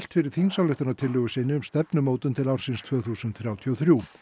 fyrir þingsályktunartillögu sinni um stefnumótun til ársins tvö þúsund þrjátíu og þrjú